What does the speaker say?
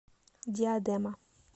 диадема